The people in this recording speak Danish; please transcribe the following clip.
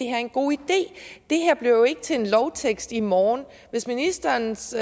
er en god idé det her bliver jo ikke til en lovtekst i morgen hvis ministerens